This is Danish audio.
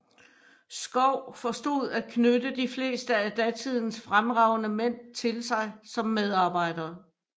Schouw forstod at knytte de fleste af datidens fremragende mænd til sig som medarbejdere